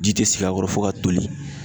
Ji te sigi a kɔrɔ fo ka toli.